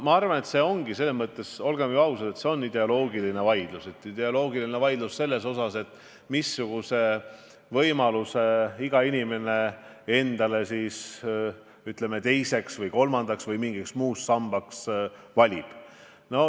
Ma arvan, et see on, olgem ausad, ideoloogiline vaidlus – ideoloogiline vaidlus selle üle, missuguse lahenduse iga inimene endale teiseks või kolmandaks või mingiks muuks sambaks valib.